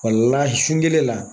Kɔlila sun kelen la.